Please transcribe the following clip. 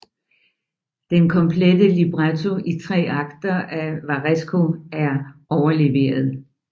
Den komplette libretto i tre akter af Varesco er overleveret